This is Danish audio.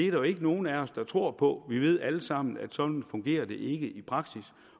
jo ikke nogen af os der tror på vi ved alle sammen at sådan fungerer det ikke i praksis